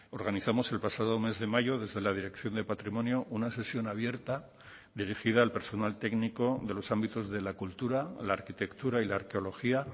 organizamos el pasado mes de mayo desde la dirección de patrimonio una sesión abierta dirigida al personal técnico de los ámbitos de la cultura la arquitectura y la arqueología